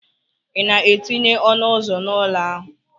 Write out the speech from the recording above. Ị na-etinye ọnụ ụzọ n'ụlọ ahụ?